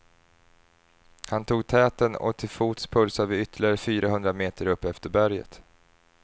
Han tog täten och till fots pulsade vi ytterligare fyra hundra meter upp efter berget.